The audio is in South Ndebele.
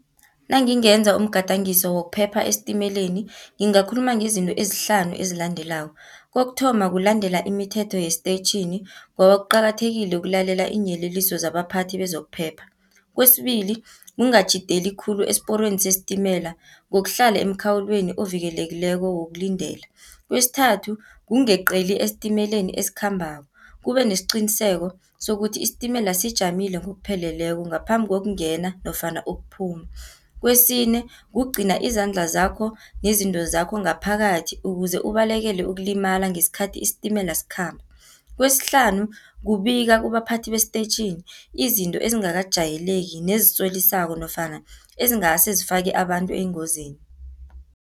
Nangingenza umgadangiso zokuphepha esitimeleni, ngingakhuluma ngezinto ezihlanu ezilandelako, kokuthoma kulandela imithetho yesitetjhini, ngoba kuqakathekile ukulalela iinyeleliso zabaphathi bezokuphepha. Kwesibili ungatjhideli khulu esiporweni sesitimela, ngokuhlala emkhawulweni ovikelekileko wokulindela. Kwesithathu ungeqeli estimeleni esikhambako, ubenesiqiniseko sokuthi isitimela sijamile ngokupheleleko, ngaphambi kokungena nofana ukuphuma. Kwesine kugcina izandla zakho, nezinto zakho, ngaphakathi ukuze ubalekele ukulimala ngesikhathi isitimela sikhamba. Kwesihlanu kubika kubaphathi bestetjhini, izinto ezingakajayeleki nezisolisako, nofana ezingase zifake abantu engozini.